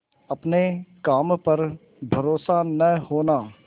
अपने काम पर भरोसा न होना